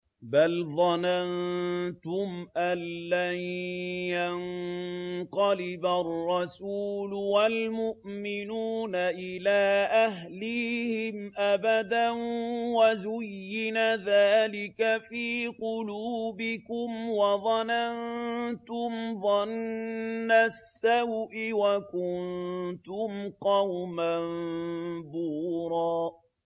بَلْ ظَنَنتُمْ أَن لَّن يَنقَلِبَ الرَّسُولُ وَالْمُؤْمِنُونَ إِلَىٰ أَهْلِيهِمْ أَبَدًا وَزُيِّنَ ذَٰلِكَ فِي قُلُوبِكُمْ وَظَنَنتُمْ ظَنَّ السَّوْءِ وَكُنتُمْ قَوْمًا بُورًا